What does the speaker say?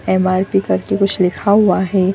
MRP. कर के कुछ लिखा हुआ है।